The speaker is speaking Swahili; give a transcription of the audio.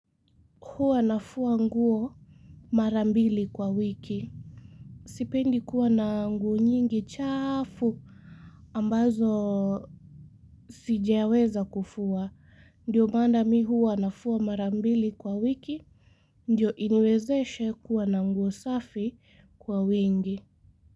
Huwa nafua nguo mara mbili kwa wiki. Sipendi kuwa na nguo nyingi chafu ambazo sijeweza kufua. Ndiyo maana mimi huwa nafua mara mbili kwa wiki ndiyo iniwezeshe kuwa na nguo safi kwa wingi.